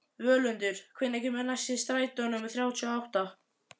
Völundur, hvenær kemur strætó númer þrjátíu og níu?